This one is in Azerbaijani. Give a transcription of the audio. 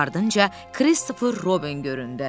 Ardınca Kristofer Robin göründü.